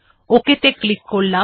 ok ত়ে click করলাম